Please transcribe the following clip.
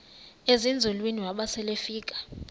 ezinzulwini waba selefika